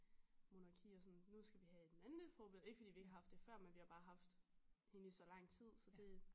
Monarki og sådan nu skal vi have et mandeforbillede ikke fordi vi ikke har haft det før men vi har bare haft hende i så lang tid så det